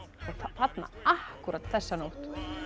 þarna akkúrat þessa nótt